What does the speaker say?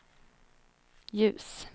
ljus